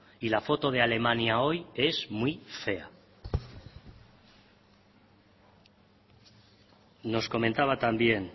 y la foto de alemania hoy es muy fea nos comentaba también